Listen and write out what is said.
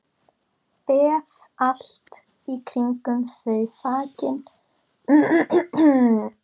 Beð allt í kringum þau þakin blómskrúði.